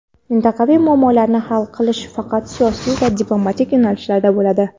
mintaqaviy muammolarni hal qilish faqat siyosiy va diplomatik yo‘nalishda bo‘ladi.